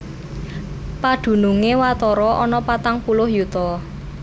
Padunungé watara ana patang puluh yuta